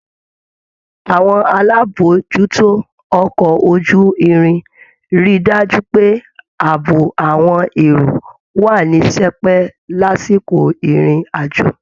Àwọn alábòójútó ọkọ̀ ojú-irin rí i dájú pé ààbò àwọn èrò wà ní sẹpẹ́ lásìkò ìrìn àjò